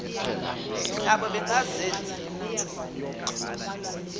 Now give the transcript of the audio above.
nabo bengazenzi lutho